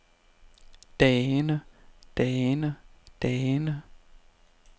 dagene dagene dagene